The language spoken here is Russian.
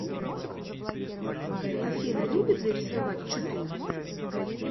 афина любит ли рисовать чупина